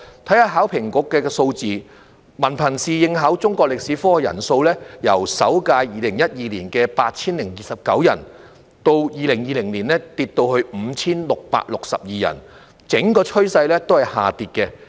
看看考評局的數字，文憑試應考中國歷史科的人數，由首屆2012年的 8,029 人，到2020年下跌至 5,662 人，整個趨勢是下跌的。